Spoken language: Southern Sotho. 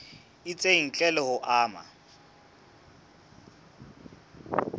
itseng ntle le ho ama